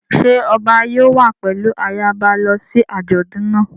Ṣé ọba yóò wá pẹ̀lú ayaba lọ sí àjọ̀dún náà?